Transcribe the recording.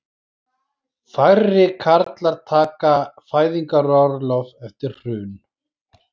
Færri karlar taka fæðingarorlof eftir hrun